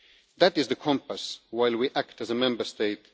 That is the compass while we act as a Member State